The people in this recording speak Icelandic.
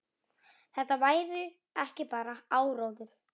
Þetta væri ekki bara áróður.